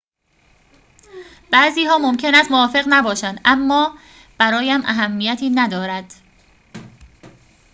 بعضی‌ها ممکن است موافق نباشند اما برایم اهمیتی ندارد